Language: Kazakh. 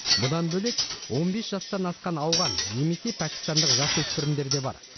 бұдан бөлек он бес жастан асқан ауған немесе пәкістандық жасөспірімдер де бар